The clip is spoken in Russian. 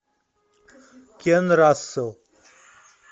кен рассел